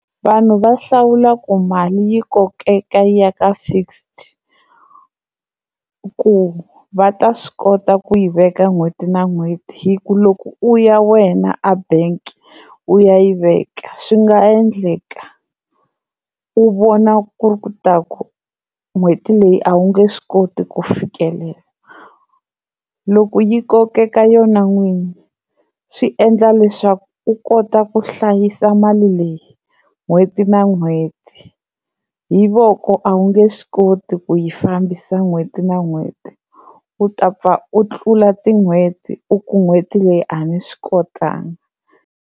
Vanhu va hlawula ku mali yi kokeka yi ya ka fixed ku va ta swi kota ku yi veka n'hweti na n'hweti. Hi ku loko u ya wena a bank u ya yi veka swi nga endleka u vona ku ri ku ta ku n'hweti leyi a wu nge swi koti ku fikelela loko yi kokeka yona n'wini swi endla leswaku u kota ku hlayisa mali leyi n'hweti na n'hweti hi voko a wu nge swi koti ku yi fambisa n'hweti na n'hweti u ta pfa u tlula tin'hweti u ku n'hweti leyi a ni swi kotanga.